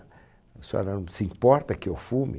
A senhora não se importa que eu fume?